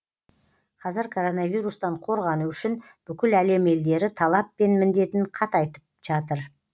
қазір коронавирустан қорғану үшін бүкіл әлем елдері талап пен міндетін қатайтып жатыр